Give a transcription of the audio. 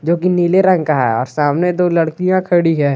जो कि नीले रंग का है और सामने दो लड़किया खडी है।